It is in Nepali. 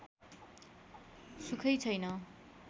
सुखै छैन